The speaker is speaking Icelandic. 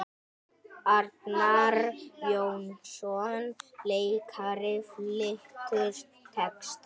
Arnar Jónsson leikari flytur texta.